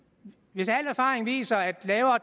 hvis al erfaring viser at lavere